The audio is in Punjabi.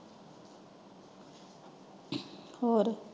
ਹੋਰ?